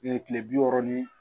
kile bi wɔɔrɔ ni